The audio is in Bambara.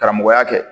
Karamɔgɔya kɛ